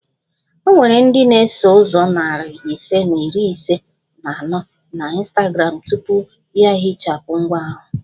O nwere ndị na-eso ụzọ narị ise na iri ise na anọ na Instagram tupu ya ehichapụ ngwa ahụ